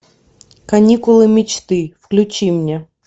каникулы мечты включи мне